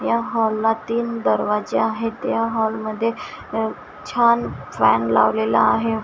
या हॉल ला तीन दरवाजा आहेत या हॉल मध्ये छान फॅन लावलेला आहे.